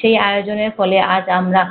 সেই আয়োজনের ফলে আজ আমরা